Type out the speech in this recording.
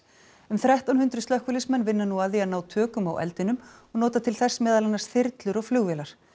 um þrettán hundruð slökkviliðsmenn vinna nú að því að ná tökum á eldinum og nota til þess meðal annars þyrlur og flugvélar